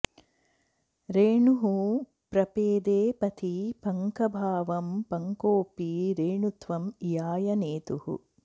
रेणुः प्रपेदे पथि पङ्कभावं पङ्कोऽपि रेणुत्वं इयाय नेतुः